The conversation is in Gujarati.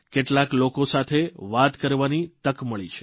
કેટલાક લોકો સાથે વાત કરવાની તક મળી છે